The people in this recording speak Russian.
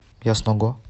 ясного